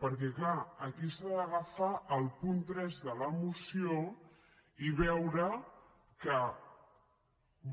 perquè clar aquí s’ha d’agafar el punt tres de la moció i veure que